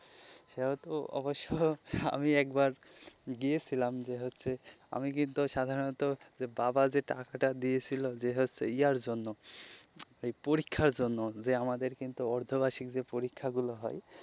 সেভাবে অবশ্য আমি একবার গিয়েছিলাম যে হচ্ছে আমি কিন্তু সাধারণত বাবা যে টাকাটা দিয়েছিল যে হচ্ছে ইয়ার জন্য ওই পরীক্ষার জন্য যে আমাদের অর্ধ বার্ষিকীর যে পরীক্ষাগুলো হয়,